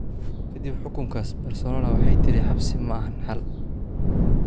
Ka dib xukunkaas, Barcelona waxay tidhi: Xabsi ma aha xal.